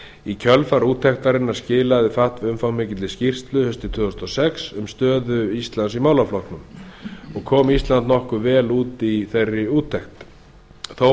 í kjölfar úttektarinnar skilaði fatf umfangsmikilli skýrslu haustið tvö þúsund og sex um stöðu íslands í málaflokknum ísland kom nokkuð vel út úr úttektinni þó